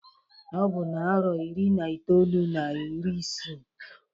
Ọ bụ na-arọ iri na itolu na iri isee.